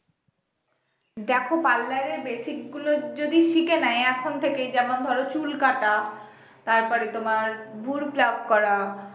দেখো parlour এর basic গুলো যদি শিখে নেয় এখন থেকেই যেমন ধরো চুল কাটা তারপরে তোমার bru plug করা